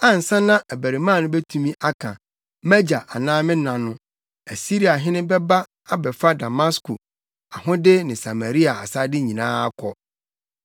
Ansa na abarimaa no betumi aka, ‘Mʼagya’ anaasɛ ‘me na’ no, Asiriahene bɛba abɛfa Damasko ahode ne Samaria asade nyinaa akɔ.”